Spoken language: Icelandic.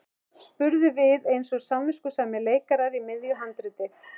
spurðum við eins og samviskusamir leikarar í miðju handriti.